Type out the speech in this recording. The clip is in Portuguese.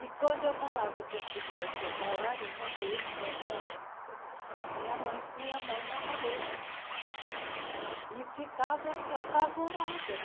E, quando eu falava que queria ser bailarina, desde essa época, minha mãe punha a mão na cabeça e ficava apavorada.